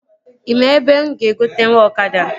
Ị maa ebe mụ ga-egotenwu ọkada?